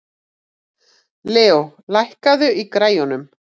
Leo, lækkaðu í græjunum.